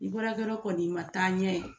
Ni baarakɛyɔrɔ kɔni ma taa ɲɛ